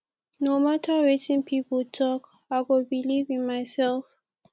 no mata wetin pipo tok i go believe in mysef